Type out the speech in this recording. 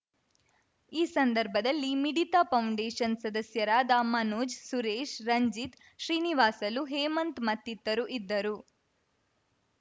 ಈ ಸಂದರ್ಭದಲ್ಲಿ ಮಿಡಿತ ಫೌಂಡೇಷನ್‌ ಸದಸ್ಯರಾದ ಮನೋಜ್‌ ಸುರೇಶ್‌ ರಂಜಿತ್‌ ಶ್ರೀನಿವಾಸಲು ಹೇಮಂತ್‌ ಮತ್ತಿತರು ಇದ್ದರು